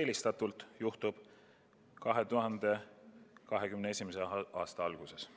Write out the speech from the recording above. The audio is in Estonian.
eelistatult juhtub see 2021. aasta alguses.